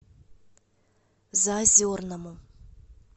заозерному